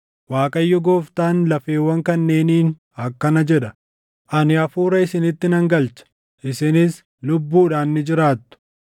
Waaqayyo Gooftaan lafeewwan kanneeniin akkana jedha: Ani hafuura isinitti nan galcha; isinis lubbuudhaan ni jiraattu.